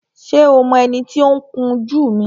Ṣé o mọ ẹni tí ó ń kun jú mi?